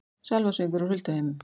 Sálmasöngur úr hulduheimum